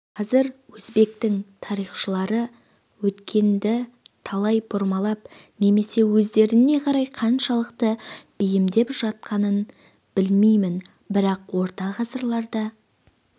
қазір өзбектің тарихшылары өткенді қалай бұрмалап немесе өздеріне қарай қаншалықты бейімдеп жатқанын білмеймін бірақ орта ғасырларда